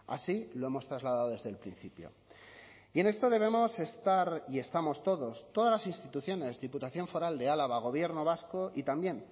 así lo hemos trasladado desde el principio y en esto debemos estar y estamos todos todas las instituciones diputación foral de álava gobierno vasco y también